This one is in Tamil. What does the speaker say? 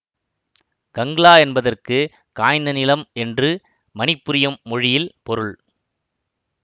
கங்லா என்பதற்கு காய்ந்த நிலம் என்று மணிப்புரியும் மொழியில் பொருள்